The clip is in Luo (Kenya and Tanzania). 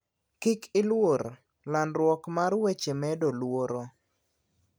Kik iluor, landruok mar weche medo luoro.